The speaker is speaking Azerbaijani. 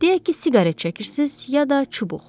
Deyək ki, siqaret çəkirsiniz, ya da çubuq.